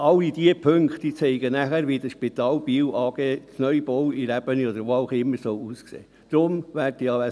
– Alle diese Punkte zeigen, wie die Spital Biel AG, der Neubau in der Ebene oder wo auch immer, aussehen soll.